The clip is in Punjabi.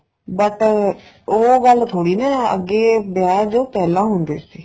but ਉਹ ਗੱਲ ਥੋੜੀ ਨਾ ਅੱਗੇ ਵਿਆਹ ਜੋ ਪਹਿਲਾਂ ਹੁੰਦੇ ਸੀ